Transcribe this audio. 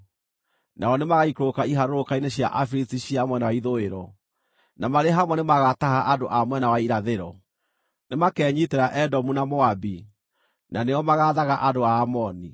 Nao nĩmagaikũrũka iharũrũka-inĩ cia Afilisti cia mwena wa ithũĩro; na marĩ hamwe nĩmagataha andũ a mwena wa irathĩro. Nĩmakenyiitĩra Edomu na Moabi, na nĩo magaathaga andũ a Amoni.